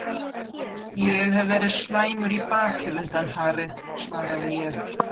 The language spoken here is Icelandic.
Ég hef verið slæmur í baki undanfarið svaraði ég.